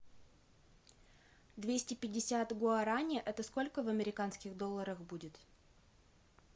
двести пятьдесят гуарани это сколько в американских долларах будет